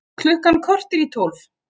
Klukkan korter í tólf